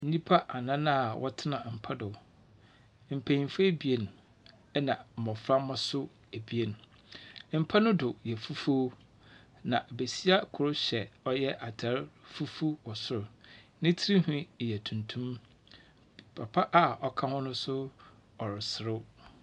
Nnipa anan a wɔtsena mpa do. Mpenyinfo ebien, na mbɔframba nso ebein. Mpa no do yɛ fufuw. Na besia kor hyɛ ɔyɛ atar fufuw wɔ sor. Ne stirnhwi yɛ tuntum. Papa a ɔka ho no nso ɔreserew.